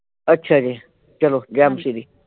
ਅੱਛਾ ਜੀ ਚਲੋ ਗਿਆਨ ਸ਼੍ਰੀ।